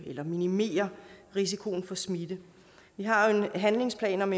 eller minimerer risikoen for smitte vi har jo en handlingsplan om